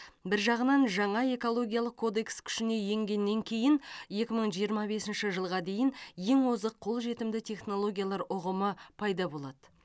бір жағынан жаңа экологиялық кодекс күшіне енгеннен кейін екі мың жиырма бесінші жылға дейін ең озық қолжетімді технологиялар ұғымы пайда болады